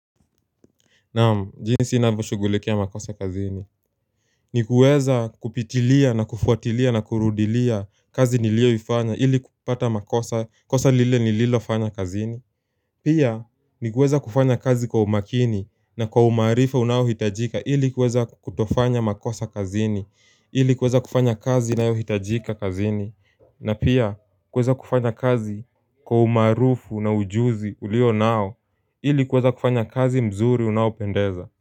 Naam, jinsi ninavyoshugulikia makosa kazini. Ni kuweza kupitilia na kufuatilia na kurudilia kazi nilioifanya ili kupata makosa, kosa lile nililofanya kazini. Pia, ni kuweza kufanya kazi kwa umakini na kwa umaarifa unaohitajika ili kuweza kutofanya makosa kazini, ili kuweza kufanya kazi inayohitajika kazini. Na pia kuweza kufanya kazi kwa umaarufu na ujuzi ulionao ili kuweza kufanya kazi mzuri unaopendeza.